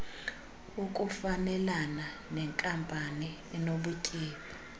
ukufanelana nenkampani enobutyebi